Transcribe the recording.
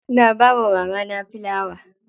Na bawa mamana filawa.